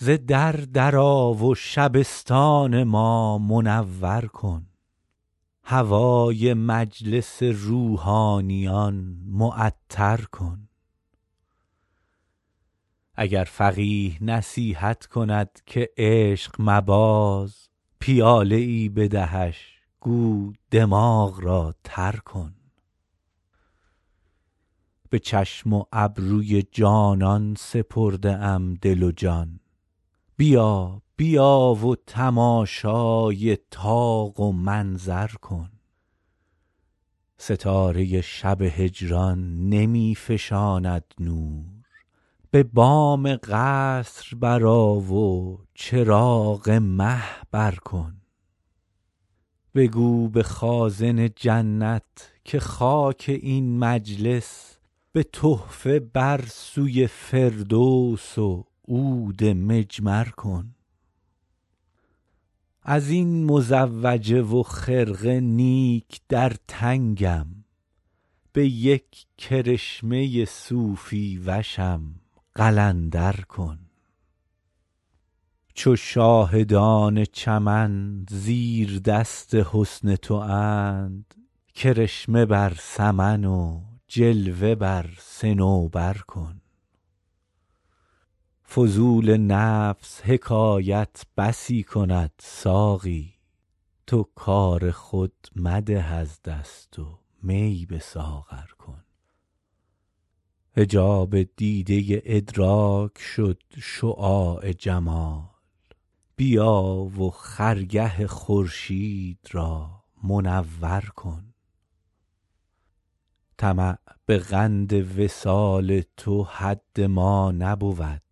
ز در در آ و شبستان ما منور کن هوای مجلس روحانیان معطر کن اگر فقیه نصیحت کند که عشق مباز پیاله ای بدهش گو دماغ را تر کن به چشم و ابروی جانان سپرده ام دل و جان بیا بیا و تماشای طاق و منظر کن ستاره شب هجران نمی فشاند نور به بام قصر برآ و چراغ مه بر کن بگو به خازن جنت که خاک این مجلس به تحفه بر سوی فردوس و عود مجمر کن از این مزوجه و خرقه نیک در تنگم به یک کرشمه صوفی وشم قلندر کن چو شاهدان چمن زیردست حسن تواند کرشمه بر سمن و جلوه بر صنوبر کن فضول نفس حکایت بسی کند ساقی تو کار خود مده از دست و می به ساغر کن حجاب دیده ادراک شد شعاع جمال بیا و خرگه خورشید را منور کن طمع به قند وصال تو حد ما نبود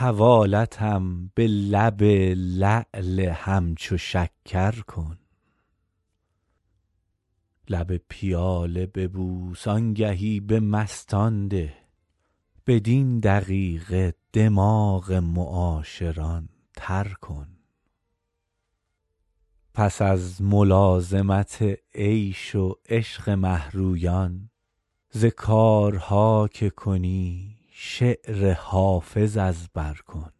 حوالتم به لب لعل همچو شکر کن لب پیاله ببوس آنگهی به مستان ده بدین دقیقه دماغ معاشران تر کن پس از ملازمت عیش و عشق مه رویان ز کارها که کنی شعر حافظ از بر کن